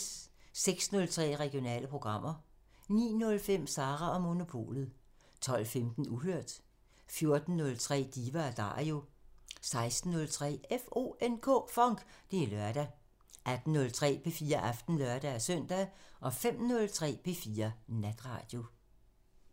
06:03: Regionale programmer 09:05: Sara & Monopolet 12:15: Uhørt 14:03: Diva & Dario 16:03: FONK! Det er lørdag 18:03: P4 Aften (lør-søn) 05:03: P4 Natradio